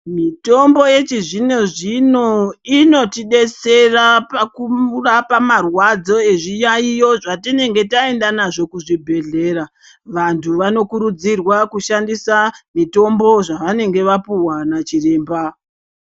Mitombo yechizvino zvino inotidetsera pakurapa marwadzo ezviyaiyo zvatinenge taenda nazvo kuzvibhedhlera vantu vanokurudzirwa kushandisa mitombo zvavanenge vapuwa nachiremba.